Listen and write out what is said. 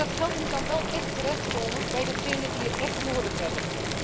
Maar dat geld moet dan wel terechtkomen bij degenen die het echt nodig hebben.